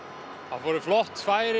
það voru flott færi